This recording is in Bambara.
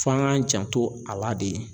F'an k'an janto a la de